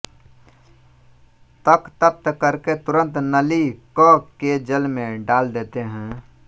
तक तप्त करके तुरंत नली क के जल में डाल देते हैं